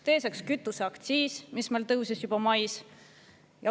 Teiseks, kütuseaktsiis tõusis juba mais.